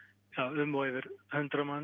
um og yfir hundrað manns